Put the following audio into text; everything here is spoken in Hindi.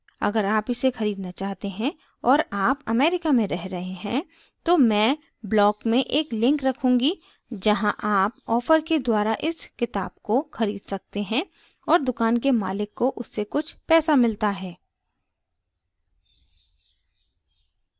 अगर आप इसे खरीदना चाहते हैं और आप अमेरिका में रह रहे हैं तो मैं block में एक link रखूँगी जहाँ आप offer के द्वारा इस किताब को खरीद सकते हैं और दुकान के मालिक को उससे कुछ पैसा मिलता है